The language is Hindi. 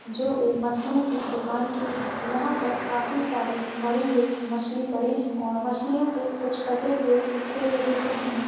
जो एक मछली की दुकान की है। यहाँ पर काफ़ी सारी मरी हुई मछली पड़ी है और मछलियों के कुछ कटे हुऐ हिस्से भी दिख रहे हैं।